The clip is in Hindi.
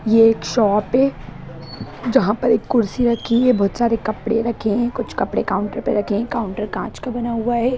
यह एक शॉप है जहां पर एक कुर्सी रखी है बहुत सारे कपड़े रखे हैं कुछ कपड़े काउंटर पर रखे हैं काउंटर कांच का बना हुआ है।